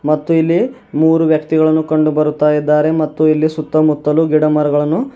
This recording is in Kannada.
ಮತ್ತು ಇಲ್ಲಿ ಮೂರು ವ್ಯಕ್ತಿಗಳನ್ನು ಕಂಡುಬರುತ್ತಾ ಇದ್ದಾರೆ ಮತ್ತು ಇಲ್ಲಿ ಸುತ್ತಮುತ್ತಲು ಗಿಡಮರಗಳನ್ನು --